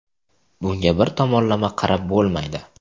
Bunga bir tomonlama qarab bo‘lmaydi.